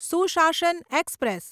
સુશાસન એક્સપ્રેસ